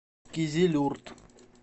кизилюрт